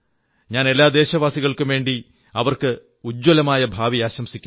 ഞാൻ എല്ലാ ദേശവാസികൾക്കും വേണ്ടി അവർക്ക് ഉജ്ജ്വലമായ ഭാവി ആശംസിക്കുന്നു